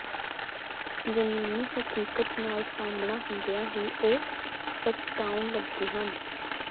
ਜਮੀਨੀ ਹਕੀਕਤ ਨਾਲ ਸਾਹਮਣਾ ਹੁੰਦਿਆਂ ਹੀ ਉਹ ਪਛਤਾਉਣ ਲੱਗੇ ਹਨ